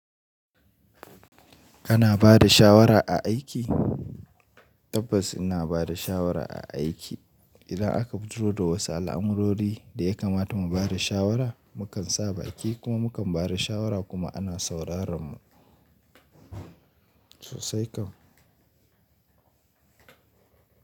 Ana ba da shawara a aiki? Tabbas ina ba da shawara a aiki. Idan aka fito da wasu al'amurori da ya kamata mu ba da shawara, mu kan sa baki kuma mu kan ba da shawara kuma ana sauraran mu sosai kan.